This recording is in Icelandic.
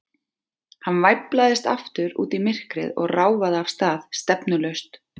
Hann væflaðist aftur út í myrkrið og ráfaði af stað, stefnulaust.